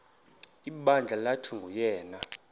ibandla lathi nguyena